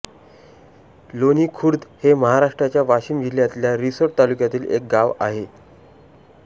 लोणी खुर्द हे महाराष्ट्राच्या वाशीम जिल्ह्यातल्या रिसोड तालुक्यातील एक गाव आहे